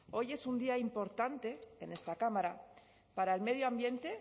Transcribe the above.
hoy es un día importante en esta cámara para el medio ambiente